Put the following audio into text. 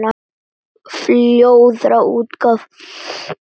Fjórða útgáfa.